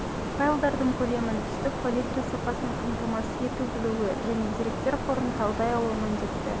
файлдардың көлемін түстік политра сапасын қамтамасыз ету білуі және деректер қорын талдай алуы міндетті